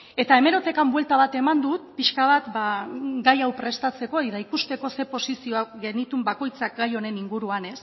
eta hemerotekan buelta bat eman dut pixka bat ba gai hau prestatzeko eta ikusteko zer posizioak genituen bakoitzak gai honen inguruan